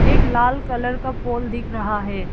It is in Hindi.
एक लाल कलर का पोल दिखे रहा है।